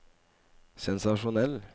sensasjonell